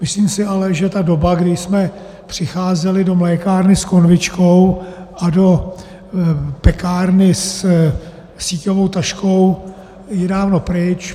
Myslím si ale, že ta doba, kdy jsme přicházeli do mlékárny s konvičkou a do pekárny se síťovou taškou, je dávno pryč.